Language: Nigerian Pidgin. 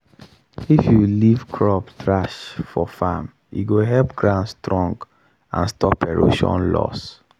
if you leave crop trash for farm e go help ground strong and stop erosion loss.